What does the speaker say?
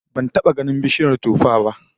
Ban taba ganin bishiyar tuffah ba